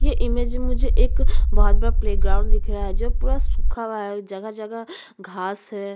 ये इमेज में मुझे एक बहुत बड़ा प्ले ग्राउंड दिख रहा है जो पूरा सूखा हुआ है जगह - जगह घास है।